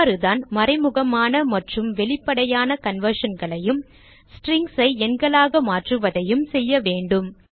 இவ்வாறுதான் மறைமுகமான மற்றும் வெளிப்படையான conversionகளையும் strings ஐ எண்களாக மாற்றுவதையும் செய்ய வேண்டும்